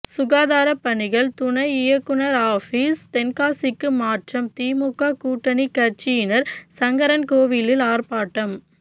சுகாதார பணிகள் துணை இயக்குநர் ஆபீஸ் தென்காசிக்கு மாற்றம் திமுக கூட்டணி கட்சியினர் சங்கரன்கோவிலில் ஆர்ப்பாட்டம்